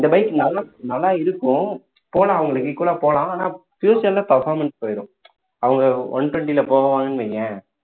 இந்த bike நல்லா~நல்லா இருக்கும் போலாம் அவங்களுக்கு equal ஆ போலாம் ஆனா future ல performance போயிரும் அவங்க one twenty ல போவாங்கன்னு வையேன்